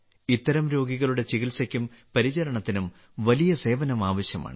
ഇത്തരം രോഗികളുടെ ചികിത്സയ്ക്കും പരിചരണത്തിനും വലിയ സേവനം ആവശ്യമാണ്